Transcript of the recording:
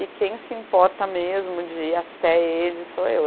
E quem se importa mesmo de ir até ele sou eu.